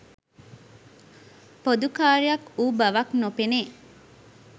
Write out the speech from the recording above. පොදු කාර්යයක් වූ බවක් නොපෙනේ.